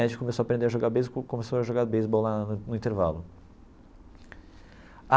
A gente começou a aprender a jogar beisebol e começou a jogar beisebol lá no no intervalo.